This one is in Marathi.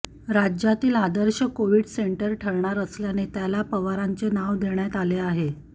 राज्यातील आदर्श कोव्हिड सेंटर ठरणार असल्याने त्याला पवारांचे नाव देण्यात आले आहे